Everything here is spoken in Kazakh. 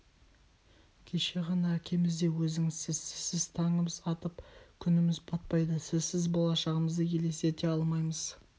кеше ғана әкеміз де өзіңізсіз сізсіз таңымыз атып күніміз батпайды сізсіз болашағымызды елестете алмаймыз